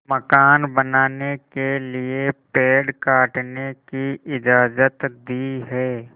मकान बनाने के लिए पेड़ काटने की इजाज़त दी है